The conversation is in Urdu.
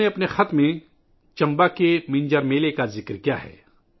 انہوں نے اپنے خط میں چمبا ک ' منجر میلہ 'کا ذکر کیا ہے